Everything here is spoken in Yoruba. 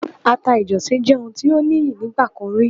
Àta ìjọ̀sì jẹ́ ohun tí ó níyì nígbà kan rí.